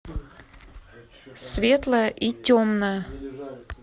светлое и темное